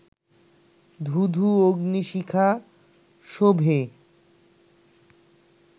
ধূ ধূ অগ্নি-শিখা শোভে